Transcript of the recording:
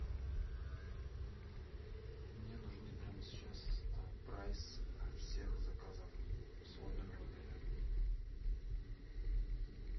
мне нужны прямо сейчас прайс всех заказов в свой номер в отеле